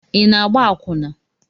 Ị na-agba akwụna?